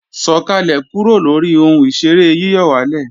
Sọ̀kàlẹ̀ kúrò lóri ohun ìṣeré yíyọ̀wálè!